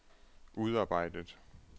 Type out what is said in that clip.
udarbejdet